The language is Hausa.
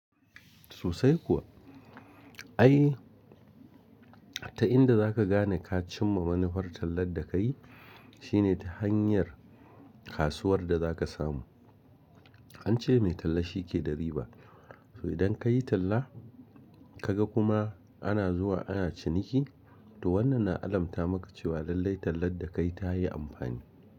Sosai kuwa. Ai ta inda zaka gane ka cimma wani fartalar da ka yi shine ta hanyar kasuwar da za ka samu. An ce mai talla shi ke da riba. So idan ka yi talla ka ga kuma ana zuwa ana ciniki, to wannan na alamta maka cewa lallai tallar da ka yi ta yi amfani.